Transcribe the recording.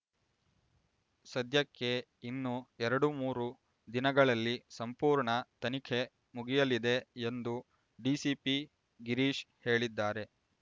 ಸದ್ಯಕ್ಕೆ ಇನ್ನೂ ಎರಡುಮೂರು ದಿನಗಳಲ್ಲಿ ಸಂಪೂರ್ಣ ತನಿಖೆ ಮುಗಿಯಲಿದೆ ಎಂದು ಡಿಸಿಪಿ ಗಿರೀಶ್ ಹೇಳಿದ್ದಾರೆ